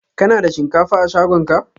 Ka na da shinkafa a shagon ka?